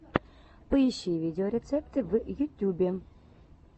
поищи видеорецепты в ютюбе